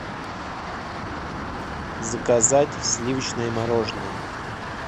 заказать сливочное мороженое